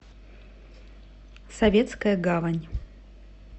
советская гавань